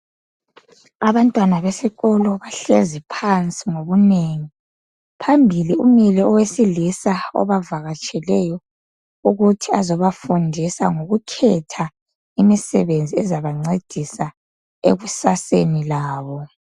Abantwana besikolo bahlezi phansi ngobunengi, phambili umile owesilisa obavakatsheleyo ukuthi ezobafundisa ngokukhetha imisebenzi ezabancedisa ekusaseni labo.